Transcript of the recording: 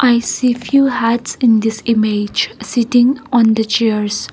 i see few hats in this image sitting on the chairs.